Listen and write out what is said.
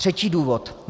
Třetí důvod.